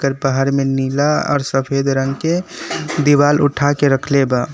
बाहर में नीला और सफेद रंग के दीवाल उठा के रखले बा।